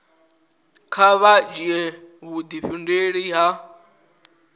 kha vha dzhia vhudifhinduleli ha